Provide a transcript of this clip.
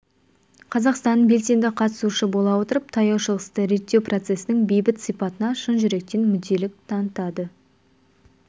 қазақстан белсенді қатысушысы бола отырып таяу шығысты реттеу процесінің бейбіт сипатына шын жүректен мүдделілік танытады